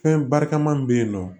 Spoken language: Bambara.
Fɛn barikama min bɛ yen nɔ